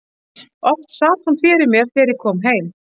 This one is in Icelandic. Oft sat hún fyrir mér þegar ég kom heim.